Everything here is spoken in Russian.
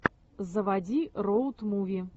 заводи роуд муви